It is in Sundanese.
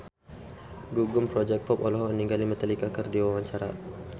Gugum Project Pop olohok ningali Metallica keur diwawancara